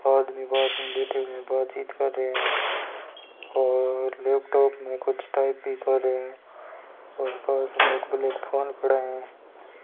आदमी पास में बैठे हुए है बातचीत कर रहे है और लैपटॉप मे कुछ टाइप भी कर रहे है और पास मे एक ब्लैक फोन पड़ा है।